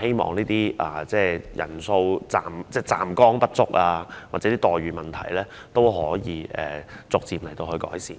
希望站崗人數不足或待遇差異的問題可以逐漸改善。